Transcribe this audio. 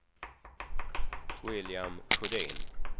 William Sjödin